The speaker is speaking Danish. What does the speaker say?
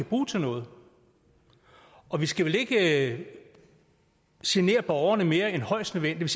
bruge til noget og vi skal vel ikke genere borgerne mere end højst nødvendigt